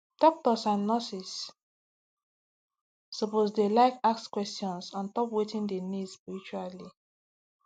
doctors and nurses suppose dey like ask questions ontop wetin dem need spiritually